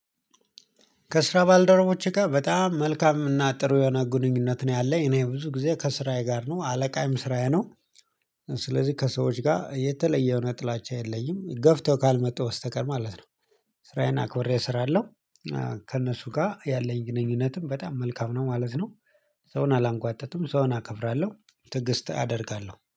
ከስራ ባልደረቦቼ ጋር በጣም መልካም እና ጥሩ የሆነ ግንኙነት ነው ያለኝ እኔ ብዙ ጊዜ ከስራዬ ጋር ነው አለቃዬም ስራዬ ነው። ስለዚህ ከሰዎች ጋር የተለየ የሆነ ጥላቻ የለኝም ገፍተው ካልመጡ በስተቀር ማለት ነው። ስራዬን አክብሬ ሰራለሁ። ከእነሱ ጋር ያለኝ ግንኙነትም በጣም መልካም ነው ማለት ነው። ሰውን አላንጓጥጥም ሰውን አከብራለሁ ትዕግስት አደርጋለሁ